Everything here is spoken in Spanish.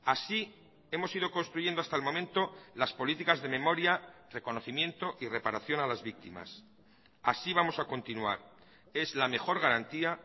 así hemos ido construyendo hasta el momento las políticas de memoria reconocimiento y reparación a las víctimas así vamos a continuar es la mejor garantía